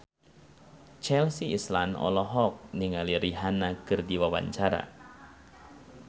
Chelsea Islan olohok ningali Rihanna keur diwawancara